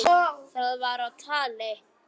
Það var á tali.